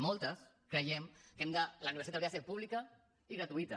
moltes creiem que la universitat hauria de ser pública i gratuïta